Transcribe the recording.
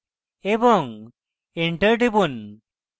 এবং enter টিপুন